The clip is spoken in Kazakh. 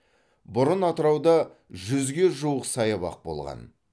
бұрын атырауда жүзге жуық саябақ болған